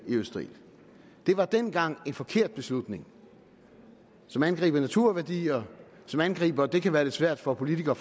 i østerild det var dengang en forkert beslutning som angriber naturværdier og som angriber det kan være svært for politikere